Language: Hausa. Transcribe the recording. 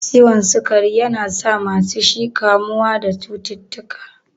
Ciwon sukari yana sa masu shi kamuwa da cututtuka.